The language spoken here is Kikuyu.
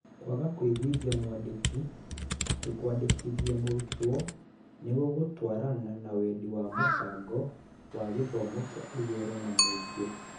Kwaga kũiguithia mwandĩki atĩ kwandĩkithia mũrutwo nĩ kũgũtwarana na wendi wa mũbango wa gĩthomo kĩa igũrũ na mũingĩ.